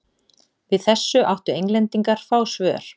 Við þessu áttu Englendingar fá svör.